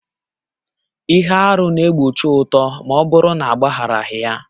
Ihe arụ na-egbochi uto ma ọ bụrụ na agbagharaghị ya